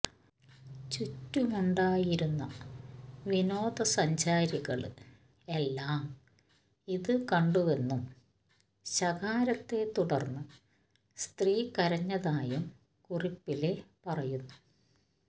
ചുറ്റുമുണ്ടായിരുന്ന വിനോദസഞ്ചാരികള് എല്ലാം ഇത് കണ്ടുവെന്നും ശകാരത്തെ തുടര്ന്ന് സ്ത്രീ കരഞ്ഞതായും കുറിപ്പില് പറയുന്നു